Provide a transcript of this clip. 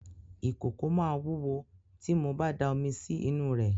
Ìkòkò máa wúwo tí mo ba da omi sí inú rẹ̀.